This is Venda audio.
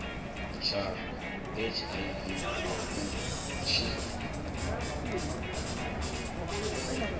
tsha hiv na u tshi